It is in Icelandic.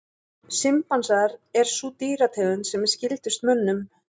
Simpansar er sú dýrategund sem er skyldust mönnum.